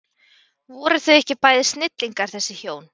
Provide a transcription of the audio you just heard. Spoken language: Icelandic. Voru þau ekki bæði snillingar þessi hjón?